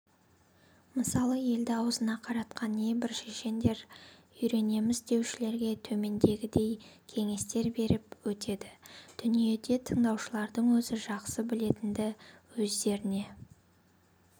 мысалы елді аузына қаратқан небір шешендерден үйренемін деушілерге төмендегідей кеңестер беріп өтеді дүниеде тыңдаушылардың өзі жақсы білетінді өздеріне